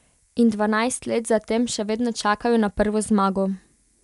In dvanajst let za tem še vedno čakajo na prvo zmago.